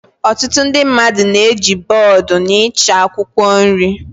Ọtụtụ ndị mmadụ na-eji bọọdụ n'ịcha akwụkwọ nri